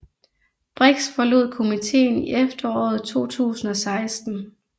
Brix forlod komiteen i efteråret 2016